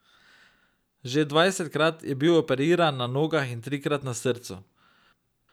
Že dvajsetkrat je bil operiran na nogah in trikrat na srcu.